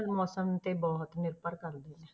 ਮੌਸਮ ਤੇ ਬਹੁਤ ਨਿਰਭਰ ਕਰਦੀ ਹੈ।